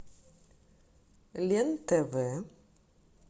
лен тв